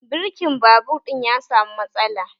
Birkin babur ɗin ya samu matsala